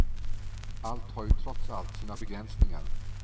Allt har ju trots allt sina begränsningar.